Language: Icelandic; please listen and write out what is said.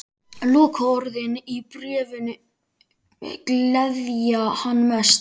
Lokaorðin í bréfinu gleðja hann mest.